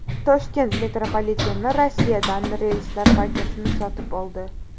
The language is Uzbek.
Toshkent metropoliteni Rossiyadan relslar partiyasini sotib oldi.